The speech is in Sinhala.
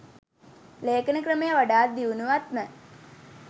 ලේඛන ක්‍රමය වඩාත් දියුණුවත්ම